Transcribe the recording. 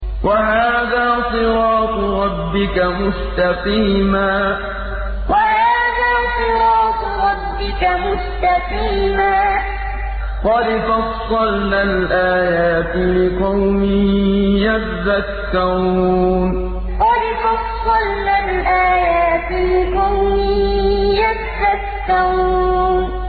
وَهَٰذَا صِرَاطُ رَبِّكَ مُسْتَقِيمًا ۗ قَدْ فَصَّلْنَا الْآيَاتِ لِقَوْمٍ يَذَّكَّرُونَ وَهَٰذَا صِرَاطُ رَبِّكَ مُسْتَقِيمًا ۗ قَدْ فَصَّلْنَا الْآيَاتِ لِقَوْمٍ يَذَّكَّرُونَ